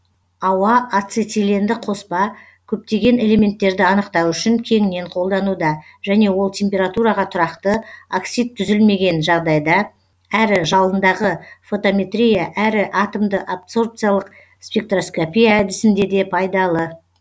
ауа ацетиленді қоспа көптеген элементтерді анықтау үшін кеңінен қолдануда және ол температураға тұрақты оксид түзілмеген жағдайда әрі жалындағы фотометрия әрі атомды абсорбциялық спектроскопия әдісінде де пайдалы